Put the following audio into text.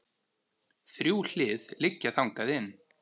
Þrjú hlið liggja þangað inn.